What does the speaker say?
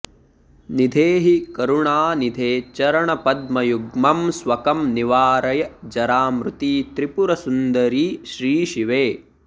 निधेहि करुणानिधे चरणपद्मयुग्मं स्वकं निवारय जरामृति त्रिपुरसुन्दरि श्रीशिवे